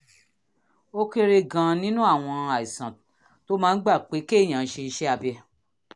ó kéré gan-an nínú àwọn àìsàn tó máa ń gba pé kéèyàn ṣe iṣẹ́ abẹ